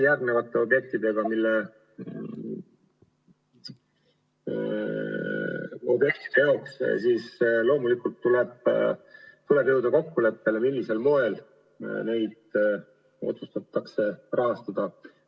Järgmiste objektide puhul tuleb loomulikult jõuda kokkuleppele, millisel moel neid otsustatakse rahastada.